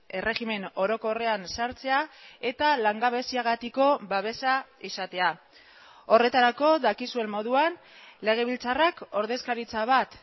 erregimen orokorrean sartzea eta langabeziagatiko babesa izatea horretarako dakizuen moduan legebiltzarrak ordezkaritza bat